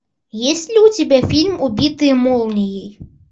есть ли у тебя фильм убитые молнией